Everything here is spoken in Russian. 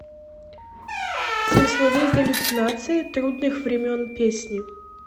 смысловые галлюцинации трудных времен песни